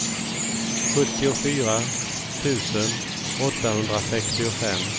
sjuttiofyra tusen åttahundrasextiofem